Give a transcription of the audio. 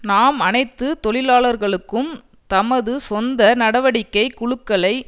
நாம் அனைத்து தொழிலாளர்களுக்கும் தமது சொந்த நடவடிக்கை குழுக்களை